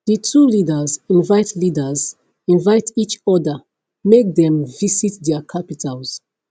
di two leaders invite leaders invite each oda make dem visit dia capitals